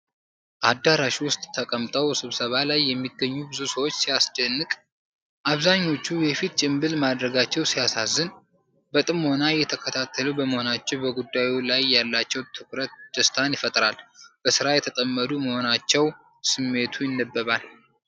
አዳራሽ ውስጥ ተቀምጠው ስብሰባ ላይ የሚገኙ ብዙ ሰዎች ሲያስደንቅ !። አብዛኛዎቹ የፊት ጭንብል ማድረጋቸው ሲያሳዝን ። በጥሞና እየተከታተሉ በመሆናቸው በጉዳዩ ላይ ያላቸው ትኩረት ደስታን ይፈጥራል። በሥራ የተጠመዱ መሆናቸው ስሜቱ ይነበባል።